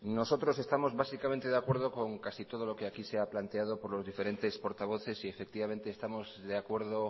nosotros estamos básicamente de acuerdo con casi todo lo que aquí se ha planteado por los diferentes portavoces y efectivamente estamos de acuerdo